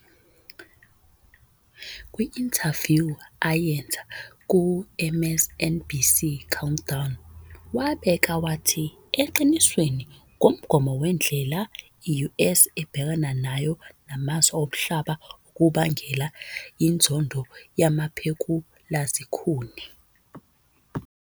Kwi-inthavyu ayenza ku-MSNBC "Countdown", wabeka wathi- "Eqinisweni, ngumgomo wendlela i-US ebhekana nayo namazwe omhlaba okubangela inzondo yamaphekulazikhuni.